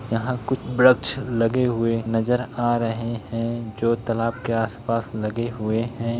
यहाँ कुछ वृक्ष लगे हुए नज़र आ रहे है जो तालाब के आस पास लगे हुए है।